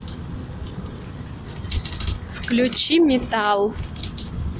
включи метал